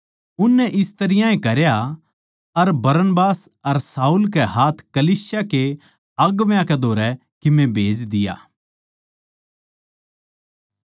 उननै इस तरियां ए करया अर बरनबास अर शाऊल कै हाथ कलीसिया के अगुवां कै धोरै कीमे भेज दिया